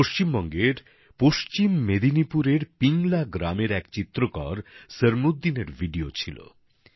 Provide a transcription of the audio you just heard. পশ্চিমবঙ্গের পশ্চিম মেদিনীপুরের পিংলা গ্রামের এক চিত্রকর সরমুদ্দিনের ভিডিও ছিল